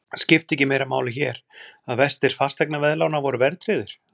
Skipti ekki meira máli hér, að vextir fasteignaveðlána voru verðtryggðir?